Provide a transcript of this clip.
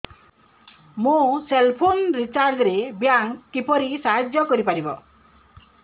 ମୋ cell phone recharge ରେ bank କିପରି ସାହାଯ୍ୟ କରିପାରିବ